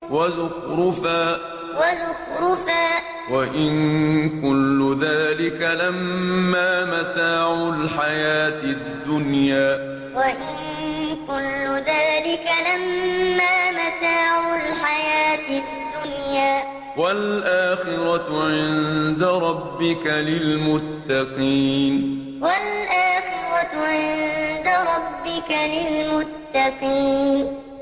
وَزُخْرُفًا ۚ وَإِن كُلُّ ذَٰلِكَ لَمَّا مَتَاعُ الْحَيَاةِ الدُّنْيَا ۚ وَالْآخِرَةُ عِندَ رَبِّكَ لِلْمُتَّقِينَ وَزُخْرُفًا ۚ وَإِن كُلُّ ذَٰلِكَ لَمَّا مَتَاعُ الْحَيَاةِ الدُّنْيَا ۚ وَالْآخِرَةُ عِندَ رَبِّكَ لِلْمُتَّقِينَ